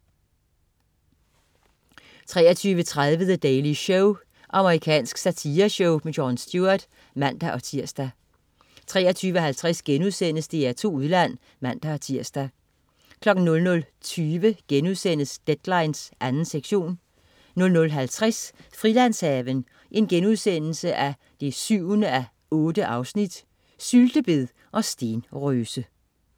23.30 The Daily Show. Amerikansk satireshow. Jon Stewart (man-tirs) 23.50 DR2 Udland* (man-tirs) 00.20 Deadline 2. sektion* 00.50 Frilandshaven 7:8.* Syltebed og stenrøse